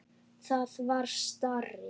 Það var starri!